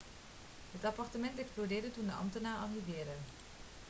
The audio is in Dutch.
het appartement explodeerde toen de ambtenaar arriveerde